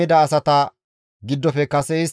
Eraamanne Geeba asati 621,